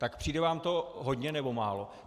Tak přijde vám to hodně, nebo málo?